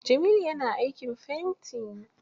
Jamilu ya na aikin fenti.